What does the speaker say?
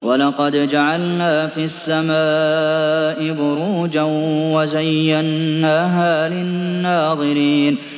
وَلَقَدْ جَعَلْنَا فِي السَّمَاءِ بُرُوجًا وَزَيَّنَّاهَا لِلنَّاظِرِينَ